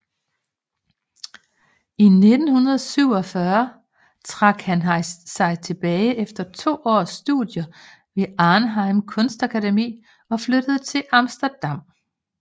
I 1947 trak han sig tilbage efter to års studier ved Arnhem Kunstakademi og flyttede til Amsterdam